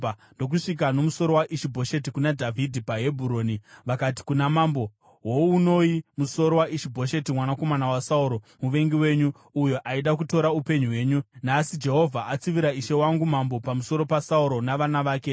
Vakandosvika nomusoro wa Ishi-Bhosheti kuna Dhavhidhi paHebhuroni vakati kuna mambo, “Hounoi musoro waIshi-Bhosheti mwanakomana waSauro, muvengi wenyu, uyo aida kutora upenyu hwenyu. Nhasi Jehovha atsivira ishe wangu mambo pamusoro paSauro navana vake.”